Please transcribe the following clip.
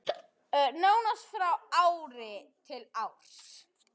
Nánast frá ári til árs.